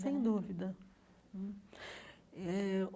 Sem dúvida hum eh.